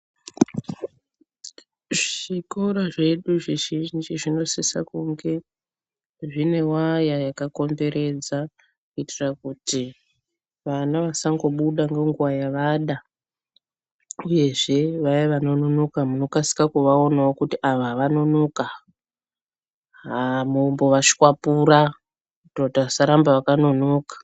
Zvikora zvedu zvizhinji zvinosisa kunge zvine waya yakakomberedza kuitira kuti vana vasangobuda ngenguwa yavada uyezve vaya vanonoka munokasika kuvaonawo kuti ava vanonoka, haa mombovashwapura kuti vasaramba vakanonoka.